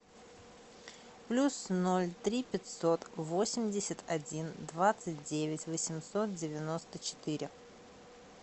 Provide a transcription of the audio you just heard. плюс ноль три пятьсот восемьдесят один двадцать девять восемьсот девяносто четыре